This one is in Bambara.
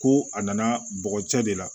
Ko a nana bɔgɔ cɛ de la